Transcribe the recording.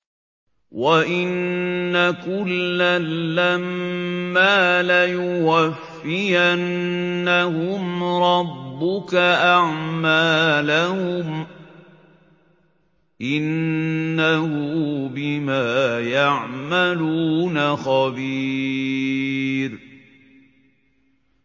وَإِنَّ كُلًّا لَّمَّا لَيُوَفِّيَنَّهُمْ رَبُّكَ أَعْمَالَهُمْ ۚ إِنَّهُ بِمَا يَعْمَلُونَ خَبِيرٌ